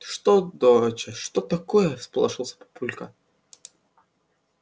что доча что такое всполошился папулька